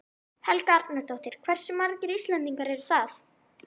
Helga Arnardóttir: Hversu margir Íslendingar eru það?